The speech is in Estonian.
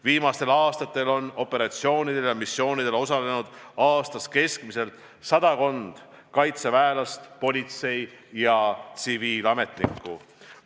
Viimastel aastatel on operatsioonidel ja missioonidel osalenud aastas keskmiselt sadakond kaitseväelast, politsei- ja tsiviilametnikku.